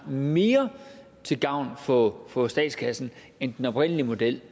mere til gavn for for statskassen end den oprindelige model